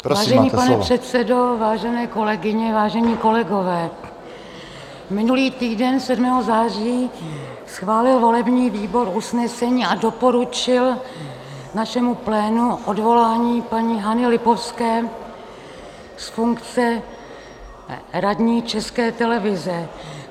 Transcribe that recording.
Vážený pane předsedo, vážené kolegyně, vážení kolegové, minulý týden 7. září schválil volební výbor usnesení a doporučil našemu plénu odvolání paní Hany Lipovské z funkce radní České televize.